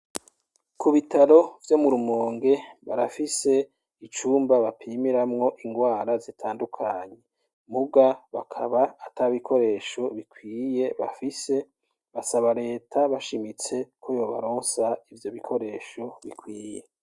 Ku bitaro vyo murumonge barafise icumba bapimiramwo ingwara zitandukanyi muga bakaba ata bikoresho bikwiye bafise basabaleta bashimitse ko yobaronsa ivyo bikoresho bikwiye.